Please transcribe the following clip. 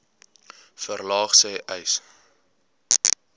verlaag sê uys